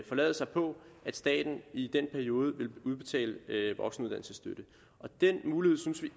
forlade sig på at staten i den periode ville udbetale voksenuddannelsesstøtte og den mulighed synes